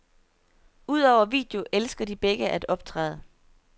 Udover video elsker de begge at optræde.